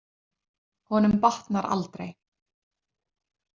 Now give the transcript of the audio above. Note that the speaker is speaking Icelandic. Honum batnar aldrei.